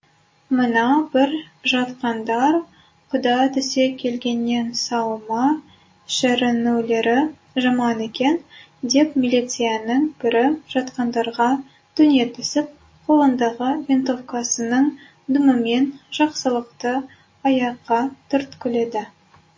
мына бір жатқандар құда түсе келгеннен сау ма шіренулері жаман екен деп милицияның бірі жатқандарға төне түсіп қолындағы винтовкасының дүмімен жақсылықты аяққа түрткіледі